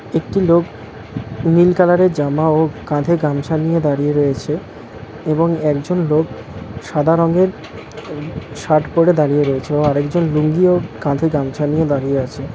একটি লোক নীল কালার -এর জামা ও কাঁধে গামছা নিয়ে দাঁড়িয়ে রয়েছে এবং একজন লোক সাদা রঙের শার্ট পড়ে দাঁড়িয়ে রয়েছে ও আরেকজন লুঙ্গি ও কাঁধে গামছা নিয়ে দাঁড়িয়ে আছে।